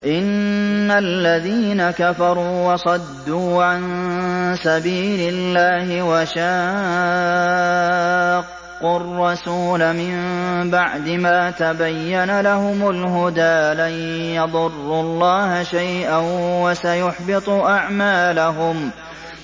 إِنَّ الَّذِينَ كَفَرُوا وَصَدُّوا عَن سَبِيلِ اللَّهِ وَشَاقُّوا الرَّسُولَ مِن بَعْدِ مَا تَبَيَّنَ لَهُمُ الْهُدَىٰ لَن يَضُرُّوا اللَّهَ شَيْئًا وَسَيُحْبِطُ أَعْمَالَهُمْ